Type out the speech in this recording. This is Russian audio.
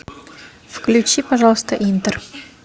включи пожалуйста интер